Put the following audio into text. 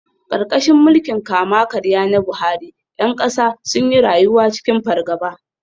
Karkashin mulkin kama-karya na Buhari, ’yan kasa sun yi rayuwa cikin fargaba.